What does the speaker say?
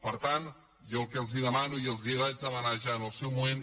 per tant jo el que els demano i els ho vaig demanar ja en el seu moment